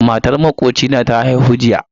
Matar makocina ta haihu jiya